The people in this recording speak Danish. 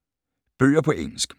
Bøger på engelsk